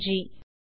நன்றி